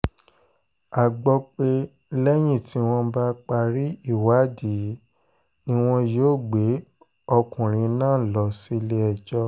a gbọ́ pé lẹ́yìn tí wọ́n bá parí ìwádìí ni wọn yóò gbé ọkùnrin náà lọ sílé-ẹjọ́